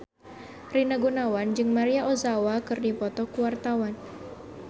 Rina Gunawan jeung Maria Ozawa keur dipoto ku wartawan